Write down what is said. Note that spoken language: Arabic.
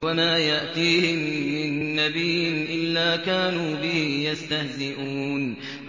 وَمَا يَأْتِيهِم مِّن نَّبِيٍّ إِلَّا كَانُوا بِهِ يَسْتَهْزِئُونَ